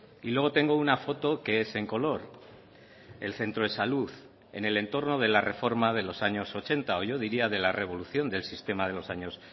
y luego tengo una foto que es en color el centro de salud en el entorno de la reforma de los años ochenta o yo diría de la revolución del sistema de los años